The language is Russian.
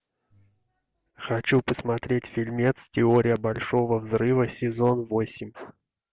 хочу посмотреть фильмец теория большого взрыва сезон восемь